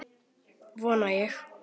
Vona ég.